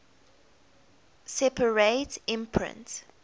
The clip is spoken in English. separate imprint